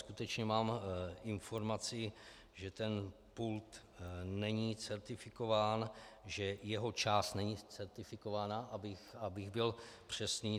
Skutečně mám informaci, že ten pult není certifikován, že jeho část není certifikována, abych byl přesný.